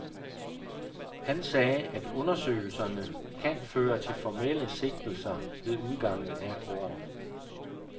Han sagde, at undersøgelserne kan føre til formelle sigtelser ved udgangen af året.